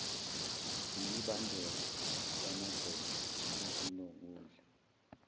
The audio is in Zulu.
yimibandela yamagceke ezokudla